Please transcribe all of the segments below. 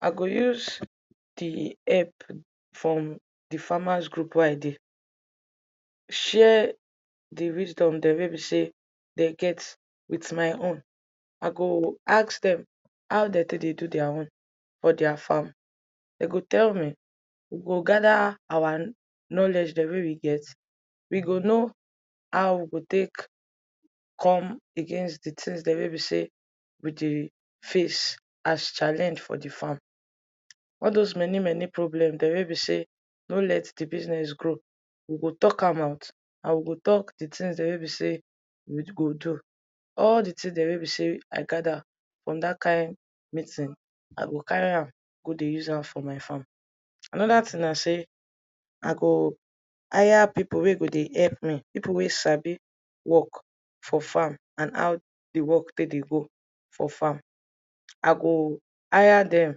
i go use di help from from di farmers group wey i dey share di wisdom dem wey bi sey they get with my own i go ask them haw dem take dey do their own for their farm de go tell me we go gather our knowledge dem wey we get we go know haw we go take come against di tins dere wey bi sey we dey face as challenge for di farm all those many many problem dere wey bi sey no let di business grow we go talk am out and we go talk di tins dere wey bi sey we d go do all the tin dere wey bi sey i gada from da kind meeting i go carry am go dey use am for my farm anoda tin na sey i gooo hire pipol wey go dey help mi pipol wey sabi work for farm and haw di work take dey go for farm i go hire dem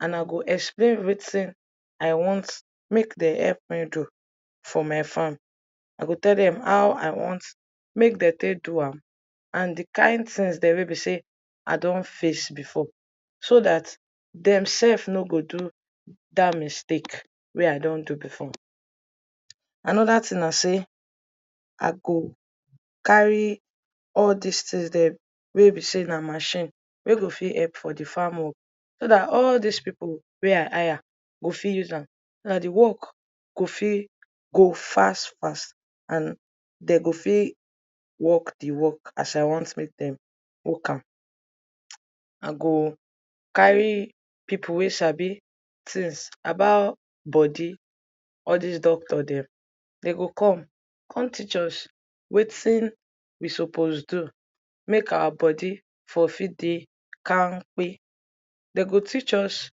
and i go explain wetin i want make dem help me do for my farm i go tell dem haw i want make dem take do am and di kind tins dere wey bi sey i don face before so dat dem sef no go do d da mistake wey i don do before anoda tin na sey i go carry all dis tins dem wey be sey na machine wey go fit help for di farm work so dat all dis pipol wey i hire go fit use am ah di work go fi go fas fas and dey go fiii work di work as i want make dem work am i goo carry pipol wey sabi tins about bodi all dis docctor dem dey go come come teach us wetin we suppose do make our bodi for fit dey kam kpe dey go teach us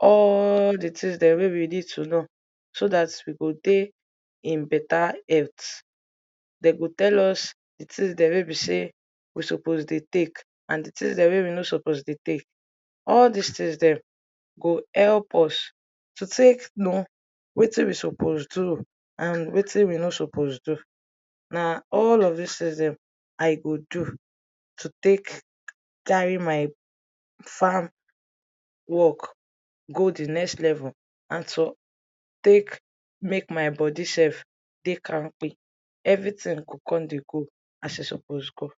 allll di tins dem wey we need to know so dat we go dey in beta health de go tell us tins dem wey bi sey we suppose dey take and di tins dem wey we no suppose dey take all dis tins dem go help us to take know wetin we suppose do and wetin we no suppose do na all of dis tins dem i go do to take carry myp farm work go di next level and to take make my bodi sef dey kamkpe evritin go come dey go as e suppose go